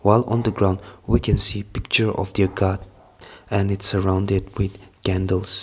all on the ground we can see a picture of the god and its surrounded by candles.